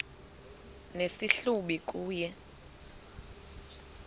nesi hlubi kule